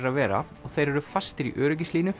að vera og þeir eru fastir í